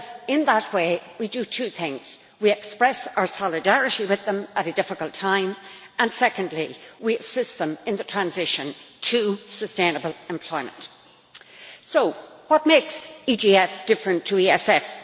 In that way we do two things we express our solidarity with them at a difficult time and, secondly, we assist them in the transition to sustainable employment. So what makes the EGF different to the ESF?